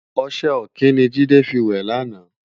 Oṣè òkin ni Jide fi wè làná